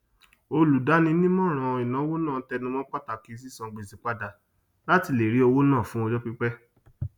olùdáninímọràn ìnáwó náà tẹnu mọ pàtàkì sísan gbèsè padà latí lè rí owó ná fún ọjọ pípẹ